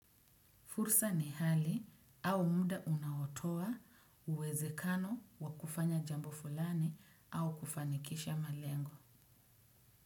Fursa ni hali au muda unaotowa uwezekano wa kufanya jambo fulani au kufanikisha malengo.